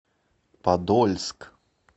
подольск